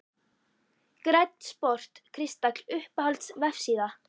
Grænn sport kristall Uppáhalds vefsíða?